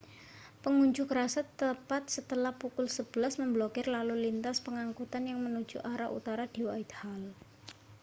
pengunjuk rasa tepat setelah pukul 11.00 memblokir lalu lintas pengangkutan yang menuju arah utara di whitehall